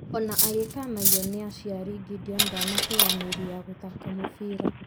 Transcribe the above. Ona agĩkanagio nĩ aciari , gideon ndanateaneria gũthaka mũbira